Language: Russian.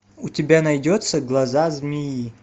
у тебя найдется глаза змеи